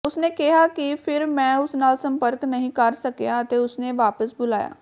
ਉਸਨੇ ਕਿਹਾ ਕਿ ਫਿਰ ਮੈਂ ਉਸ ਨਾਲ ਸੰਪਰਕ ਨਹੀਂ ਕਰ ਸਕਿਆ ਅਤੇ ਉਸਨੇ ਵਾਪਸ ਬੁਲਾਇਆ